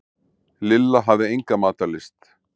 Lilla hafði enga matarlyst.